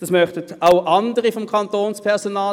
Den Nachtzuschlag möchten auch andere vom Kantonspersonal.